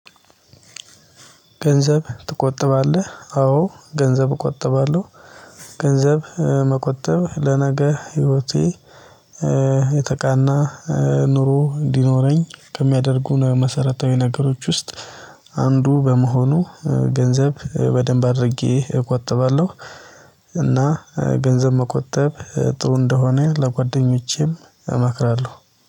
ገንዘብ ትቆጠባለህ አዎ ገንዘብ እቆጠባለሁ። ገንዘብ መቆጠብ ለነገ ህይወቴ የተቃና ኑሮ እንዲኖረኝ ከሚያደርጉን መሰረታዊ ነገሮች ውስጥ አንዱ በመሆኑ ገንዘብ በደንብ አድርጌ እቆጥባለሁ። እና ገንዘብ መቆጠብ ጥሩ እንደሆነ ለጓደኞቼም እመክራለሁ።